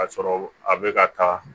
Ka sɔrɔ a bɛ ka taa